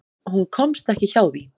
Hún komst ekki hjá því.